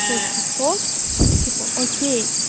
шесть пятьсот типа ок